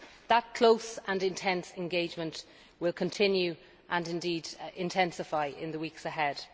That close and intense engagement will continue and indeed intensify in the weeks ahead.